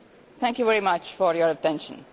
Thank you very much for your attention.